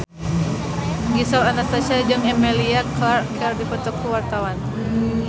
Gisel Anastasia jeung Emilia Clarke keur dipoto ku wartawan